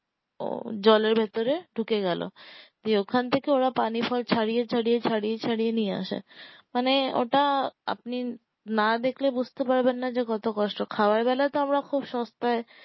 ও জলের ভেতরে ঢুকে গেলো দিয়ে ওখান থেকে ওরা পানি ফল ছাড়িয়ে ছাড়িয়ে ছাড়িয়ে ছাড়িয়ে নিয়ে আসে মানে ওটা আপনি না দেখলে বুঝ্তে পারবেন না যে কত কষ্ট খওয়ার বেলায় তো আমরা খুব সস্তায়